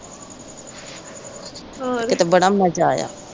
ਕਿਤੇ ਬੜਾ ਮਜ਼ਾ ਆਇਆ।